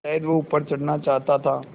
शायद वह ऊपर चढ़ना चाहता था